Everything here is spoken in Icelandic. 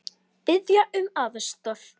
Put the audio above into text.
Biðja um aðstoð!